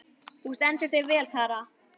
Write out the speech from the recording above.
Þú stendur þig vel, Tara!